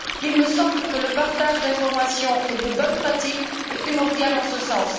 Il me semble que le partage d'informations et de bonnes pratiques est primordial en ce sens.